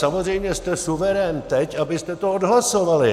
Samozřejmě jste suverén teď, abyste to odhlasovali.